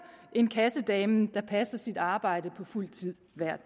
end kassedamen der passer sit arbejde på fuld tid hver